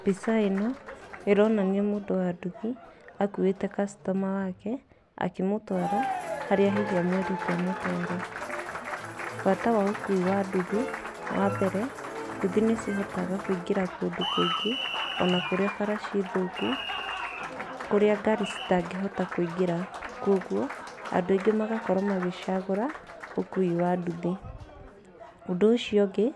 Mbica ĩno ĩronania mũndũ wa nduthi akuĩte customer wake akĩmũtwara harĩa hihi amũĩrĩte amũtware. Bata wa ũkui wa nduthi wa mbere, nduthi nĩ cihotaga kũingĩra kũndũ kũingĩ kũrĩa bara ciĩthũku kũrĩa ngari citangĩhota kũingĩra. Koguo andũ aingĩ magakorwo magĩcagũra ũkui wa nduthi. Ũndũ ũcio ũngĩ